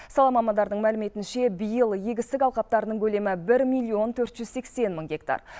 сала мамандарының мәліметінше биыл егістік алқаптарының көлемі бір миллион төрт жүз сексен мың гектар